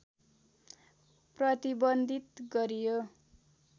प्रतिबन्धित गरियो